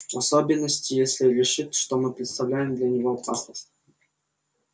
в особенности если решит что мы представляем для него опасность